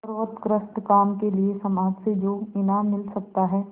सर्वोत्कृष्ट काम के लिए समाज से जो इनाम मिल सकता है